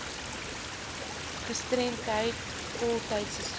gestremdheid voltydse sorg